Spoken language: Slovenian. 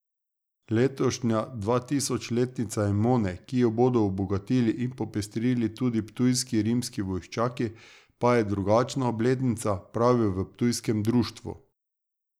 Letošnja dvatisočletnica Emone, ki jo bodo obogatili in popestrili tudi ptujski rimski vojščaki, pa je drugačna obletnica, pravijo v ptujskem društvu.